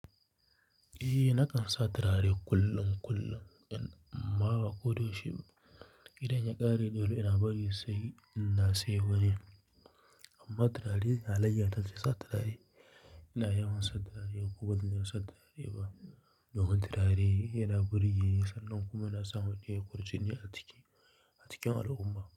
Eh, na kan sa turare kullum kullum. Amma ko da yaushe idan ya ƙare dole ina bari sai ina siyo wani. Amma turare halaiyata ne sa turare. Ina yawan sa turare, ko bazan sa turare ba. Yawan turare yana burge, sannan kuma yana sa mutun yayi kwarjini a cikin al'umma.